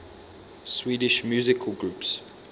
swedish musical groups